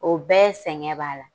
O bɛɛ sɛgɛn b'ala